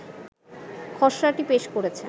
খসড়াটি পেশ করেছে